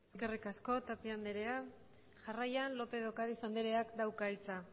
eskerrik asko tapia andrea jarraian lópez de ocariz andreak dauka hitza